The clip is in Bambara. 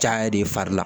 Caya de fari la